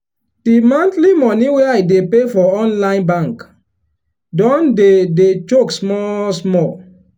the monthly money wey i dey pay for online bank don dey dey choke small small.